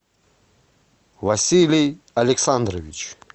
василий александрович